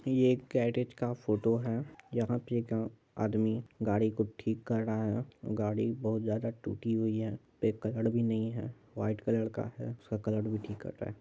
ये एक गैरेज का फोटो है यहां आदमी गाड़ी को ठीक कर रहा है गाड़ी बहुत ज्यादा टूटी हुई हैं भी नहीं है व्हाइट कलर का उसका कलर भी ठीक कर रहा है।